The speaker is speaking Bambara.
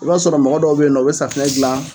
I b'a sɔrɔ mɔgɔ dɔw be yen nɔ u bɛ safunɛ dila